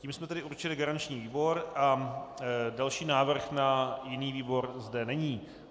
Tím jsme tedy určili garanční výbor a další návrh na jiný výbor zde není.